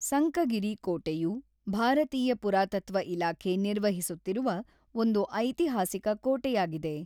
ಸಂಕಗಿರಿ ಕೋಟೆಯು ಭಾರತೀಯ ಪುರಾತತ್ವ ಇಲಾಖೆ ನಿರ್ವಹಿಸುತ್ತಿರುವ ಒಂದು ಐತಿಹಾಸಿಕ ಕೋಟೆಯಾಗಿದೆ.